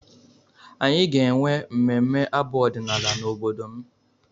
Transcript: Anyị ga-enwe mmemme abụ ọdịnala n'obodo m